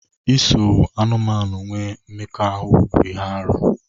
Iso anụmanụ nwee mmekọahụ bụ ihe arụ.